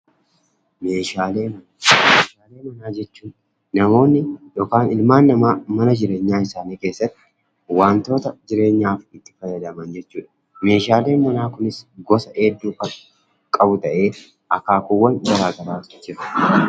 Meeshaalee manaa jechuun namoonni yookaan ilmaan namaa mana jireenyaa isaanii keessatti wantoota jireenyaaf itti fayyadaman jechuudha. Meeshaaleen manaa kunis gosa hedduu kan qabu ta'ee, akaakuuwwan gara garaatu jiru.